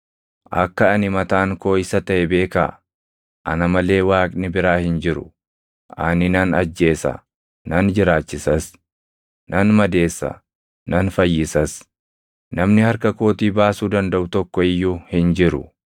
“Akka ani mataan koo Isa taʼe beekaa! Ana malee Waaqni biraa hin jiru. Ani nan ajjeesa; nan jiraachisas; nan madeessa; nan fayyisas; namni harka kootii baasuu dandaʼu tokko iyyuu hin jiru.